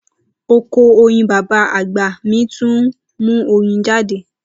Oko oyin baba agba mi tun nmu oyin jade